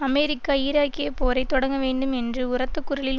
America ஈராக்கிய போரை தொடங்கவேண்டும் என்று உரத்த குரலில்